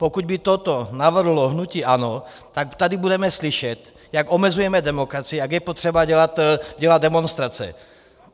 Pokud by toto navrhlo hnutí ANO, tak tady budeme slyšet, jak omezujeme demokracii, jak je potřeba dělat demonstrace.